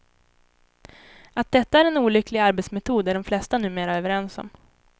Att detta är en olycklig arbetsmetod är de flesta numera överens om.